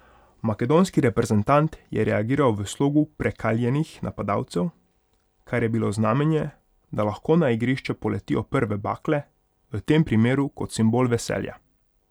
Makedonski reprezentant je reagiral v slogu prekaljenih napadalcev, kar je bilo znamenje, da lahko na igrišče poletijo prve bakle, v tem primeru kot simbol veselja.